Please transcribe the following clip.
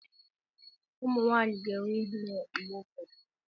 Ụmụ nwanyị ga-enwe ihere mgbe ụfọdụ.